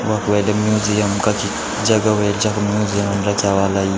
वख वैठे म्यूजियम कखि जगह वेळ जखम म्यूजियम रख्या ह्वाला यीं।